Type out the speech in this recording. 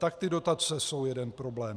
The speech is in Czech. Tak ty dotace jsou jeden problém.